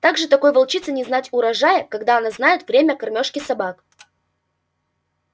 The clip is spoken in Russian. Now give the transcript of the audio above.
так же такой волчице не знать урожая когда она знает время кормёжки собак